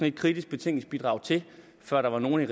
et kritisk betænkningsbidrag til før der var nogen i